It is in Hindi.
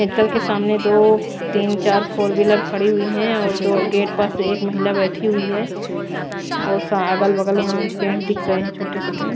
मेडिकल के सामने दो तीन चार फोर व्हीलर खड़ी हुई है और गेट पास से एक महिला बैठी हुई है और अगल-बगल यहां पेड़ दिख रहे हैं छोटे-छोटे--